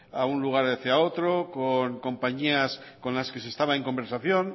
a un lugar hacia otro con compañías con las que se estaba en conversación